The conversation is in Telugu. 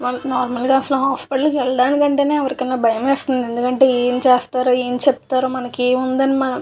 వాళ్లకి నార్మల్గా అసలు హాస్పిటల్కి వెళ్లడానికి లేదంటే ఎవరికైనా భయమేస్తుంది. అంటే ఇంజక్షన్ చేస్తారో --